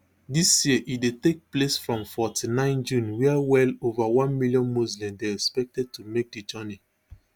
dis year e dey take place from forty-nine june wia well ova one million muslims dey expected to make di journey